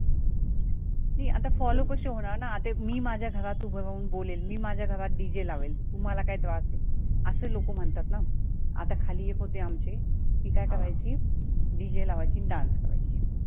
नाही आता follow कसे होणार ना आता मी माझ्या घरात उभं राहून बोलेल मी माझ्या घरात DJ लावेल तुम्हाला काय त्रास आहे. असे लोकं म्हणतात ना आता खाली एक होते आमचे ती काय करायची DJ लावायची आणि dance करायची,